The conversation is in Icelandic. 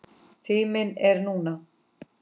Tíminn er núna.